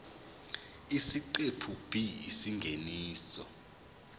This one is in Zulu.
isiqephu b isingeniso